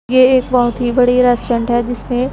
ये एक बहोत ही बड़ी रेस्टोरेंट है जिसमें--